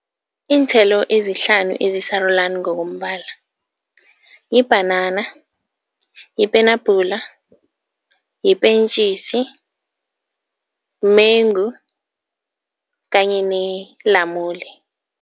Iinthelo ezihlanu esisarulani ngokombala yibhanana, yipenabhula, yipentjisi, mmengu kanye nelamule.